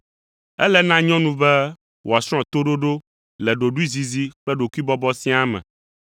Ele na nyɔnu be wòasrɔ̃ toɖoɖo le ɖoɖoezizi kple ɖokuibɔbɔ siaa me.